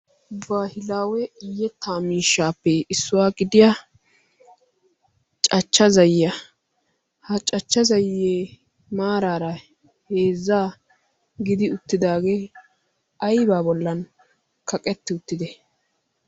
bahilaawe yetaa miishaappe issuwaa gidiya cachcha zayyiya. ha cachcha zayye maaraara heezzaa gidi uttidaagee aybbaa bollan kaqetti uttidee?